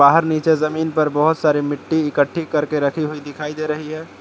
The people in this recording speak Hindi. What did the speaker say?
नीचे जमीन पर बहुत सारे मिट्टी इकट्ठी करके रखी हुई दिखाई दे रही है।